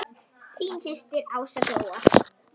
Þín systir Ása Gróa.